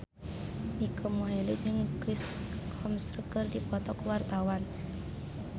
Mike Mohede jeung Chris Hemsworth keur dipoto ku wartawan